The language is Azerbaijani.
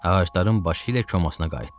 Ağacların başı ilə komasına qayıtdı.